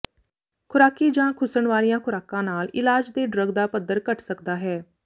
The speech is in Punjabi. ਖੁਰਾਕੀ ਜਾਂ ਖੁੱਸਣ ਵਾਲੀਆਂ ਖ਼ੁਰਾਕਾਂ ਨਾਲ ਇਲਾਜ ਦੇ ਡਰੱਗ ਦਾ ਪੱਧਰ ਘੱਟ ਸਕਦਾ ਹੈ